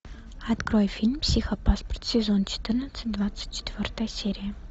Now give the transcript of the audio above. открой фильм психопаспорт сезон четырнадцать двадцать четвертая серия